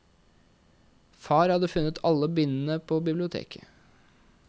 Far hadde funnet alle bindene på biblioteket.